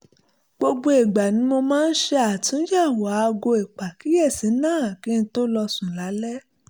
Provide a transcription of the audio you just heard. gbogbo ìgbà ni mo máa ń ṣe àtúnyẹ̀wò aago ìpàkíyèsí náà kí n tó lọ sùn lálẹ́